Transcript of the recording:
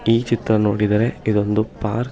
ಈ ಚಿತ್ರ ನೋಡಿದರೆ ಇದೊಂದು ಪಾರ್ಕ್ .